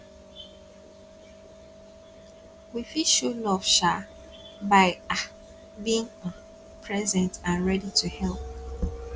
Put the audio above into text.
we fit show love um by um being um present and ready to help